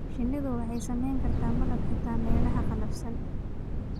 Shinnidu waxay samayn kartaa malab xitaa meelaha qallafsan.